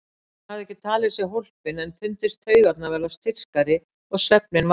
Hann hafði ekki talið sig hólpinn en fundist taugarnar verða styrkari og svefninn værari.